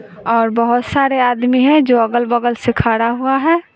और बहोत सारे आदमी है जो अगल बगल से खड़ा हुआ है।